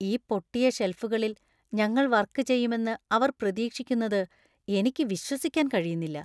ഈ പൊട്ടിയ ഷെൽഫുകളിൽ ഞങ്ങൾ വർക്ക് ചെയ്യുമെന്ന് അവർ പ്രതീക്ഷിക്കുന്നത് എനിക്ക് വിശ്വസിക്കാൻ കഴിയുന്നില്ല.